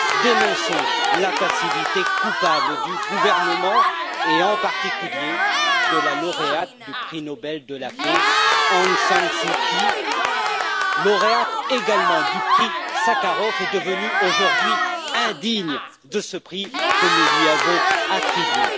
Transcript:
Dénonçons la passivité coupable du gouvernement et en particulier de la lauréate du prix Nobel de la paix, Aung San Suu Kiy, lauréate également du prix Sakharov et devenue aujourd'hui indigne de ce prix que nous lui avons attribué.